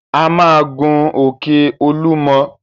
A máa gun òkè Olúmọ!